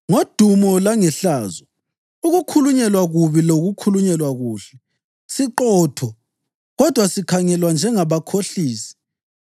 ngodumo langehlazo, ukukhulunyelwa kubi lokukhulunyelwa kuhle; siqotho, kodwa sikhangelwa njengabakhohlisi;